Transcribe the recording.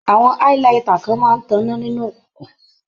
Àwọn highlighter kan máa ń tọná nínú òkuǹkùn.